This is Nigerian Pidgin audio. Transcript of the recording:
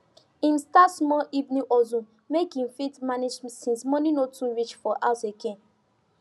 him start small evening hustle make e fit manage since money no too reach for house again